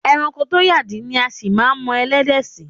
E̩ranko tó yàdí ni a sì máa mo̩ e̩lé̩dè̩ sí.